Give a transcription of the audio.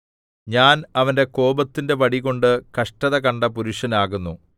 ഞാൻ അവന്റെ കോപത്തിന്റെ വടികൊണ്ട് കഷ്ടത കണ്ട പുരുഷനാകുന്നു